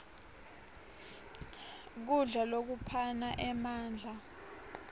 kudla lokuphana emandla